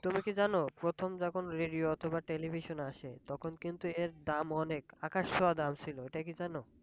তুমি কি জানো প্রথম যখন radio অথবা television আসে তখন কিন্তু এর দাম অনেক আকাশ ছোঁয়া দাম ছিল এটা কি জানো?